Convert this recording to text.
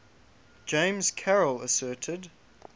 james carroll asserted